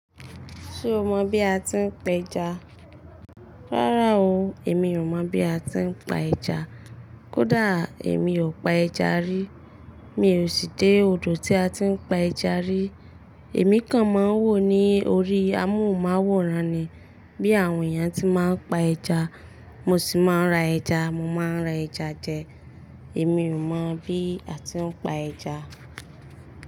Ṣé o mọ bí a ti ń pa ẹja? Rárá o, èmi ò mọ bí a ti ń pa ẹja. Kódà èmi ò pa ẹja rí. Mi ò sì dé odò tí a ti ń pa ẹja rí. Èmi kan máa ń wò ní orí, àmọ ò máa wòran ni bí àwọn èèyàn ti máa ń pa ẹja. Mo sì máa ń ra ẹja, mo máa ń ra ẹja jẹ. Èmi ò mọ bí a ti ń pa ẹja.